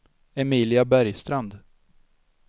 Emilia Bergstrand